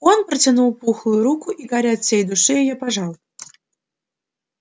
он протянул пухлую руку и гарри от всей души её пожал